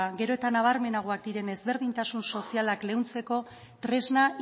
gero eta nabarmenagoak diren ezberdintasun sozialak leuntzeko tresna